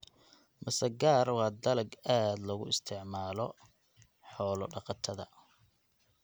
Masagaar waa dalag aad loogu isticmaalo xoolo-dhaqatada.